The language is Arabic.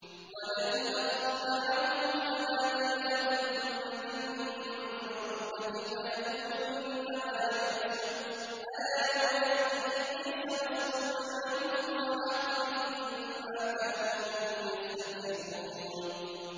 وَلَئِنْ أَخَّرْنَا عَنْهُمُ الْعَذَابَ إِلَىٰ أُمَّةٍ مَّعْدُودَةٍ لَّيَقُولُنَّ مَا يَحْبِسُهُ ۗ أَلَا يَوْمَ يَأْتِيهِمْ لَيْسَ مَصْرُوفًا عَنْهُمْ وَحَاقَ بِهِم مَّا كَانُوا بِهِ يَسْتَهْزِئُونَ